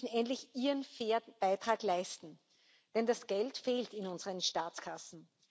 müssen endlich ihren fairen Beitrag leisten, denn das Geld fehlt in unseren Staatskassen.